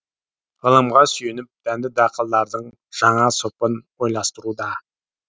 ғылымға сүйеніп дәнді дақылдардың жаңа сұрпын ойластыруда